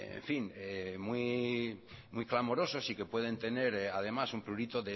muy clamorosos y que pueden tener además un prurito